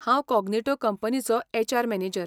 हांव कोग्निटो कंपनीचो HR manager.